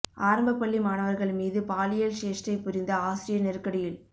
ஆரம்ப பள்ளி மாணவர்கள் மீது பாலியல் சேஷ்டை புரிந்த ஆசிரியர் நெருக்கடியில்